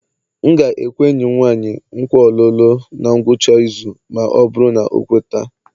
M ga-ekwe enyi m nwanyị nkwa olulu na ngwụcha izu ma ọ bụrụ na ọ kweta